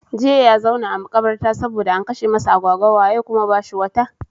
Jiya ya zauna a makabarta saboda an kashe masa agwagwa, waye kuma bashi wata?